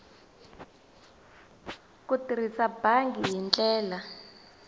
ku tirhisa bangi hi ndlela